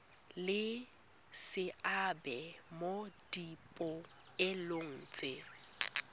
le seabe mo dipoelong tse